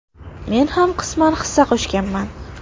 Men ham qisman hissa qo‘shganman.